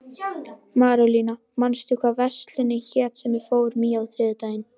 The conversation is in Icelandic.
Marólína, manstu hvað verslunin hét sem við fórum í á þriðjudaginn?